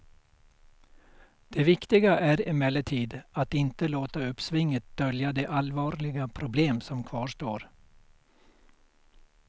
Det viktiga är emellertid att inte låta uppsvinget dölja de allvarliga problem som kvarstår.